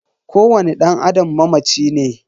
Kowani dan Adam mamaci ne.